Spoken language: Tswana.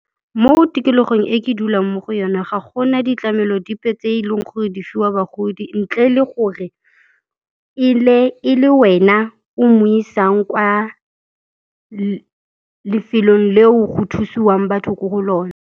Mo tikologong e ke dulang mo go yone, ga gona ditlamelo dipe tse e leng gore di fiwa bagodi ntle le gore e ile e le wena o mo isang kwa lefelong leo go thusiwang batho ko go lone.